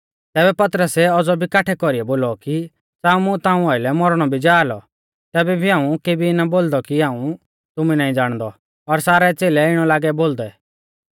तैबै पतरसै औज़ौ भी काठै कौरीऐ बोलौ कि च़ाऊ मुं ताऊं आइलै मौरणौ भी जा लौ तैबै भी हाऊं केभी ना बोलदौ कि हाऊं तुमु नाईं ज़ाणदौ और सारै च़ेलै इणौ लागै बोलदै